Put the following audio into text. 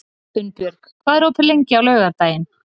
Unnbjörg, hvað er opið lengi á laugardaginn?